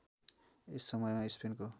यस समयमा स्पेनको